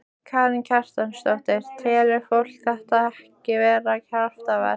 Karen Kjartansdóttir: Telur fólk þetta ekki vera kraftaverk?